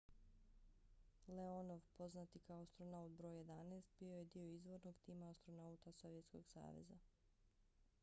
leonov poznat i kao astronaut br. 11 bio je dio izvornog tima astronauta sovjetskog saveza